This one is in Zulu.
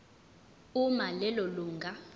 uma lelo lunga